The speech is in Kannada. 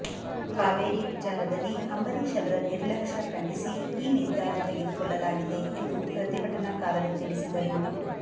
ಕಾವೇರಿ ವಿಚಾರದಲ್ಲಿ ಅಂಬರೀಷ್ ಅವರ ನಿರ್ಲಕ್ಷ್ಯ ಖಂಡಿಸಿ ಈ ನಿರ್ಧಾರ ತೆಗೆದುಕೊಳ್ಳಲಾಗಿದೆ ಎಂದು ಪ್ರತಿಭಟನಾಕಾರರು ತಿಳಿಸಿದರು